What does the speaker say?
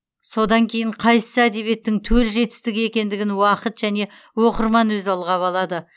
содан кейін қайсысы әдебиеттің төл жетістігі екендігін уақыт және оқырман өзі ылғап алады